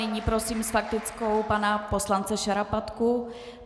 Nyní prosím s faktickou pana poslance Šarapatku.